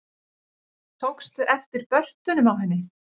Tókstu eftir börtunum á henni?